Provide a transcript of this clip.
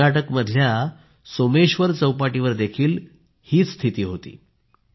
कर्नाटक मधल्या सोमेश्वर चौपाटीवर देखील हीच स्थिती होती